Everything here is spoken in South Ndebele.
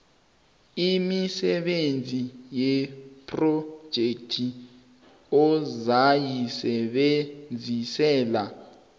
imisebenzi yephrojekhthi ozayisebenzisela